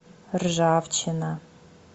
ржавчина